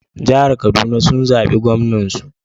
Jihar Kaduna sun zabi Gwamnan su.